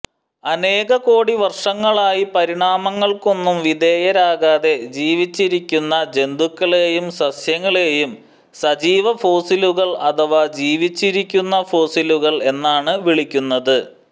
അനേകകോടി വർഷങ്ങളായി പരിണാമങ്ങൾക്കൊന്നും വിധേയരാകാതെ ജീവിച്ചിരിക്കുന്ന ജന്തുക്കളെയും സസ്യങ്ങളെയും സജീവഫോസിലുകൾ അഥവാ ജീവിച്ചിരിക്കുന്ന ഫോസിലുകൾ എന്നാണ് വിളിക്കുന്നത്